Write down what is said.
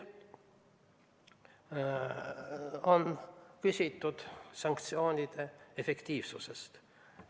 On küsitud sanktsioonide efektiivsuse kohta.